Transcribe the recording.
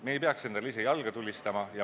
Me ei tohiks endale ise jalga tulistada.